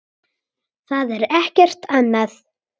Það er ekkert annað.